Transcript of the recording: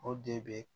O de bɛ